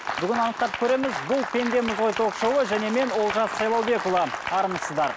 бүгін анықтап көреміз бұл пендеміз ғой ток шоуы және мен олжас сайлаубекұлы армысыздар